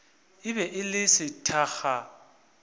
e be e le sethakga